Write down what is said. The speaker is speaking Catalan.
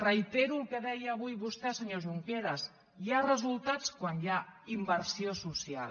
reitero el que deia avui vostè senyor junqueras hi ha resultats quan hi ha inversió social